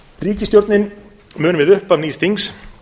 ríkisstjórnin mun við upphaf nýs þings